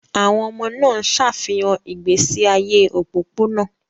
Àwọn ọmọ náà ń ṣàfihàn ìgbésí ayé òpópónà.